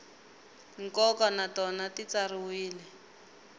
nkoka na tona ti tsariwile